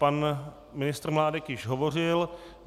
Pan ministr Mládek již hovořil.